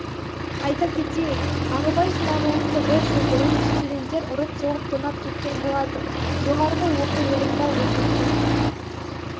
айта кетейік ағыбай смағұловты бір жыл бұрын студенттер ұрып-соғып тонап кеткен болатын жоғары оқу орнында оқитын